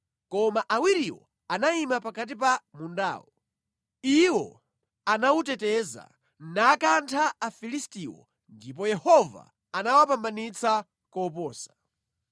Koma awiriwo anayima pakati pa mundawo. Iwo anawuteteza, nakantha Afilistiwo ndipo Yehova anawapambanitsa koposa.